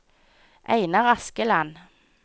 Einar Askeland